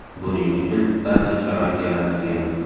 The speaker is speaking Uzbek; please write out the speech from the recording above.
Buning uchun barcha sharoit yaratilgan.